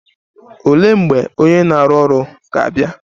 Olee mgbe onye na-arụ ọrụ ga-abịa?